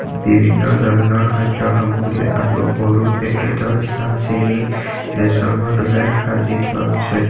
বিভিন্ন ধৰণৰ খাদ্য সামগ্ৰী আৰু সৰু পেকেটৰ চাহ চেনি ৰেচনৰ দৰে সাজি থোৱা হৈছে।